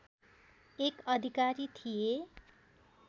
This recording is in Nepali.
एक अधिकारी थिए